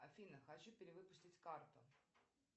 афина хочу перевыпустить карту